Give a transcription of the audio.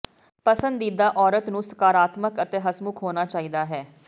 ਪਸੰਦੀਦਾ ਔਰਤ ਨੂੰ ਸਕਾਰਾਤਮਕ ਅਤੇ ਹੱਸਮੁੱਖ ਹੋਣਾ ਚਾਹੀਦਾ ਹੈ